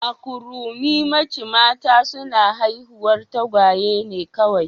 A Kurumimachi mata suna haihuwar tagwaye ne kawai